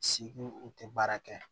u tɛ baara kɛ